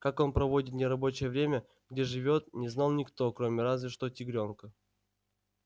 как он проводит нерабочее время где живёт не знал никто кроме разве что тигрёнка